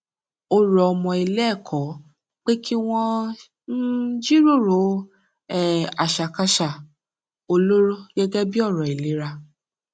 ó rọ ọmọ iléẹkọ pé kí wón um jíròrò um àṣàkáṣà olóró gẹgẹ bí ọrọ ìlera